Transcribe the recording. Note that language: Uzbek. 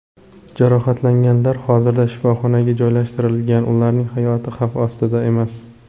Jarohatlanganlar hozirda shifoxonaga joylashtirilgan, ularning hayoti xavf ostida emas.